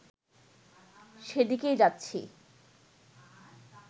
সেদিকেই যাচ্ছি